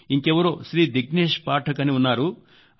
ఇంకెవరో శ్రీ దిగ్నేశ్ పాఠక్ అని ఉన్నారు